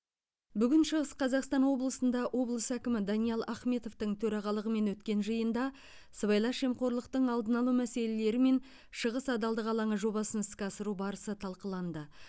бүгін шығыс қазақстан облысында облыс әкімі даниал ахметовтің төрағалығымен өткен жиында сыбайлас жемқорлықтың алдын алу мәселелері мен шығыс адалдық алаңы жобасын іске асыру барысы талқыланды